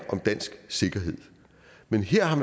om dansk sikkerhed men her har